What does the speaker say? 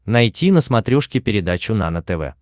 найти на смотрешке передачу нано тв